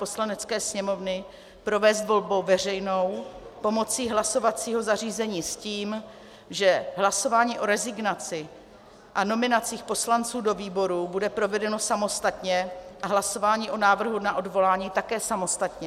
Poslanecké sněmovny provést volbou veřejnou pomocí hlasovacího zařízení s tím, že hlasování o rezignaci a nominacích poslanců do výborů bude provedeno samostatně a hlasování o návrhu na odvolání také samostatně.